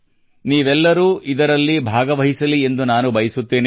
ನೀವೆಲ್ಲರೂ ಇದರಲ್ಲಿ ಭಾಗವಹಿಸಲಿ ಎಂದು ನಾನು ಬಯಸುತ್ತೇನೆ